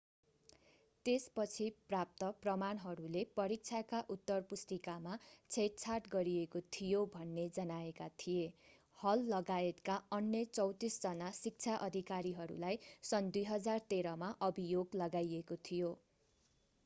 त्यसपछि प्राप्त प्रमाणहरूले परीक्षाका उत्तरपुस्तिकामा छेडछाड गरिएको थियो भन्ने जनाएका थिए हललगायतका अन्य 34 जना शिक्षा अधिकारीहरूलाई सन् 2013 मा अभियोग लगाइएको थियो